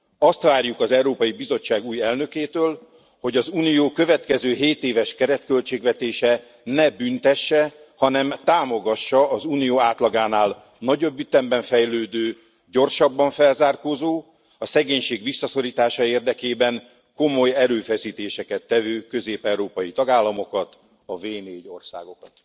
Azt várjuk az Európai Bizottság új elnökétől, hogy az Unió következő hétéves keretköltségvetése ne büntesse, hanem támogassa az Unió átlagánál nagyobb ütemben fejlődő, gyorsabban felzárkózó, a szegénység visszaszorítása érdekében komoly erőfeszítéseket tevő közép európai tagállamokat, a V4 országokat.